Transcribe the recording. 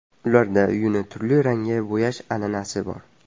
Ularda uyini turli rangga bo‘yash an’anasi bor.